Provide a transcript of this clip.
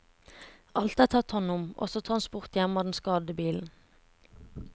Alt er tatt hånd om, også transport hjem av den skadede bilen.